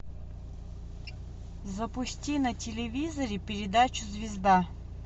запусти на телевизоре передачу звезда